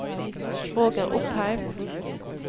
Roger Opheim